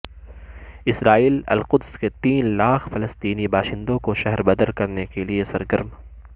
اسرائیل القدس کے تین لاکھ فلسطینی باشندوں کو شہر بدر کرنے کے لیے سرگرم